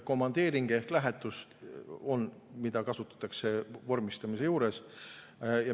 Komandeeringu ehk lähetuse kasutatakse vormistamise juures.